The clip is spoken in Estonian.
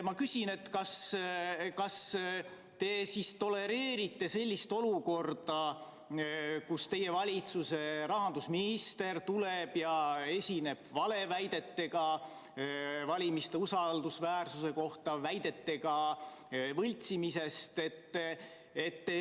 Ma küsin: kas te tolereerite sellist olukorda, kus teie valitsuse rahandusminister esineb valeväidetega valimiste usaldusväärsuse kohta, väidetega võltsimisest?